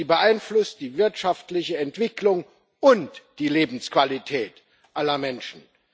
sie beeinflusst die wirtschaftliche Entwicklung und die Lebensqualität aller Menschen.